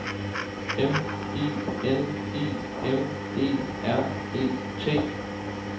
M I N I M E R E T